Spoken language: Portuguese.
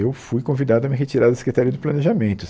Eu fui convidado a me retirar da Secretaria de Planejamento.